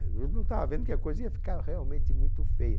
Eu não estava vendo que a coisa ia ficar realmente muito feia.